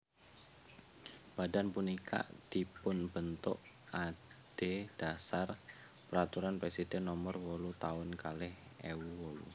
Badan punika dipunbentuk adhedhasar Peraturan Presiden Nomor wolu Taun kalih ewu wolu